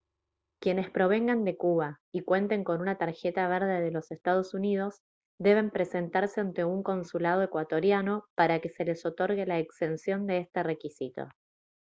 quienes provengan de cuba y cuenten con una tarjeta verde de los ee uu deben presentarse ante un consulado ecuatoriano para que se les otorgue la exención de este requisito